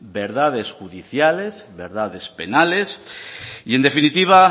verdades judiciales verdades penales y en definitiva